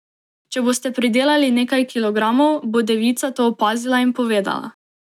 Če boste pridelali nekaj kilogramov, bo devica to opazila in povedala.